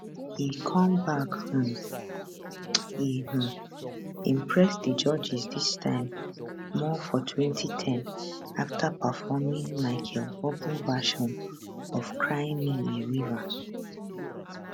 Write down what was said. e come back um e um impress di judges dis time more for 2010 after performing michael buble version of cry me a river